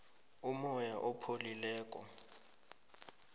umoya opholileko